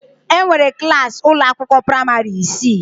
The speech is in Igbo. Enwere klas ụlọ akwụkwọ praịmarị isii.